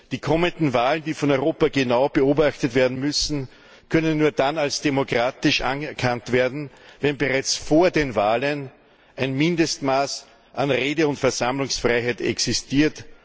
Die kommenden Wahlen, die von Europa genau beobachtet werden müssen, können nur dann als demokratisch anerkannt werden, wenn bereits vor den Wahlen ein Mindestmaß an Rede und Versammlungsfreiheit existiert.